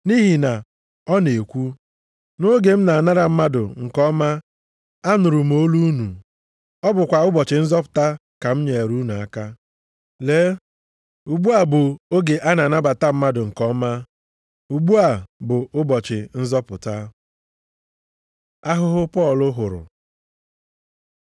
Nʼihi na ọ na-ekwu, “Nʼoge m na-anara mmadụ nke ọma anụrụ m olu unu. Ọ bụkwa ụbọchị nzọpụta ka m nyeere unu aka.” + 6:2 \+xt Aịz 49:8\+xt* Lee, ugbu a bụ oge a na-anabata mmadụ nke ọma, ugbu a bụ ụbọchị nzọpụta. Ahụhụ Pọl hụrụ